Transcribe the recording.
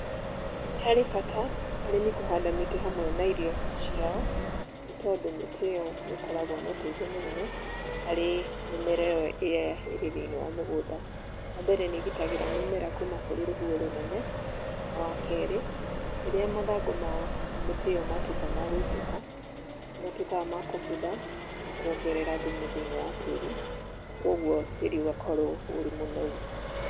Nĩ harĩ bata, arĩmi kũhanda mĩtĩ hamwe na irio ciao, nĩ tondũ mĩtĩ ĩyo nĩ ĩkoragwo na ũteithio mũnene, harĩ mĩmera ĩyo ĩrĩ thĩinĩ wa mũgũnda. Wa mbere nĩ igitagĩra mĩmera kuma kũrĩ rũhuho rũnene, na wa keri ,rĩrĩa mathangũ ma mĩtĩ ĩyo matũika ma gũitĩka, nĩ matuĩkaga ma kũbutha, na kũongerera thumu thĩnĩ wa tĩĩri, na kũoguo tĩĩri ũgakorwo ũri mũnoru.